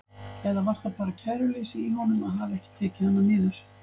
Eða var það bara kæruleysi í honum að hafa ekki tekið hana niður?